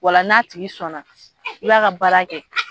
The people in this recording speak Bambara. O la n'a tigi sɔnna i b'a ka baara kɛ